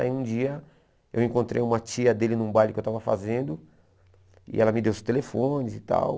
Aí um dia eu encontrei uma tia dele num baile que eu estava fazendo e ela me deu os telefones e tal.